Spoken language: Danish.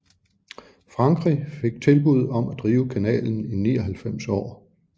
Frankrig fik tilbud om at drive kanalen i 99 år